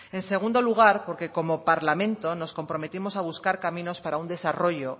en segundo lugar porque como parlamento nos comprometemos a buscar caminos para un desarrollo